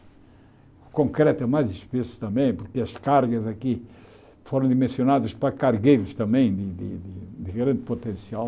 O concreto é mais espesso também, porque as cargas aqui foram dimensionadas para cargueiros também, de de de grande potencial.